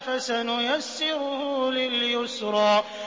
فَسَنُيَسِّرُهُ لِلْيُسْرَىٰ